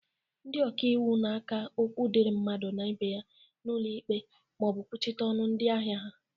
Ndị okaiwu na-aka okwu dịri mmadụ na ibe ya n'ụlọ ikpe ma ọ bụ kwuchite ọnụ ndị ahịa ha.